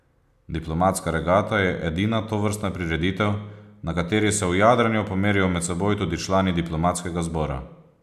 Diplomatska regata je edina tovrstna prireditev, na kateri se v jadranju pomerijo med seboj tudi člani diplomatskega zbora.